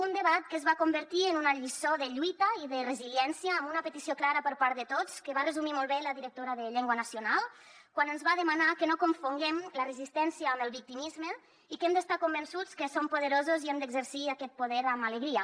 un debat que es va convertir en una lliçó de lluita i de resiliència amb una petició clara per part de tots que va resumir molt bé la directora de llengua nacional quan ens va demanar que no confonguem la resistència amb el victimisme i que hem d’estar convençuts que som poderosos i hem d’exercir aquest poder amb alegria